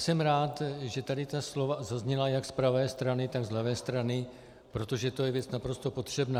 Jsem rád, že tady ta slova zazněla jak z pravé strany, tak z levé strany, protože to je věc naprosto potřebná.